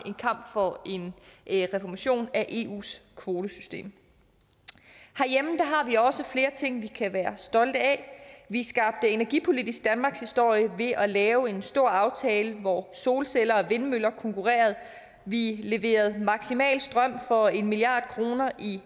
en kamp for en reformation af eus kvotesystem herhjemme har vi også flere ting vi kan være stolte af vi skabte energipolitisk danmarkshistorie ved at lave en stor aftale hvor solceller og vindmøller konkurrerede vi leverede maksimalt strøm for en milliard kroner i